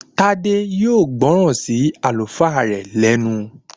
Tádé yóò gbọ́ràn sí Àlùfáà rẹ̀ lẹ́nu